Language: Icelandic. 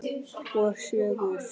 Og sögur.